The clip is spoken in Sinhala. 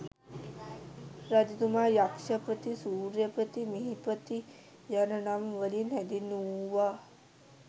රජතුමා යක්ෂපති, සූර්යපති, මිහිපති යන නම් වලින් හැඳින්වූවා.